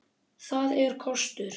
Það er kostur.